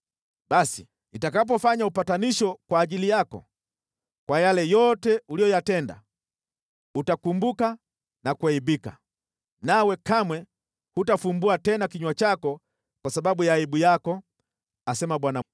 Basi, nitakapofanya upatanisho kwa ajili yako, kwa yale yote uliyoyatenda, utakumbuka na kuaibika, nawe kamwe hutafumbua tena kinywa chako kwa sababu ya aibu yako, asema Bwana Mwenyezi.’ ”